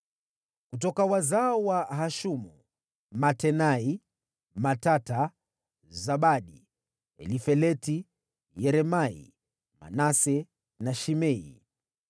Kutoka wazao wa Hashumu: Matenai, Matata, Zabadi, Elifeleti, Yeremai, Manase na Shimei.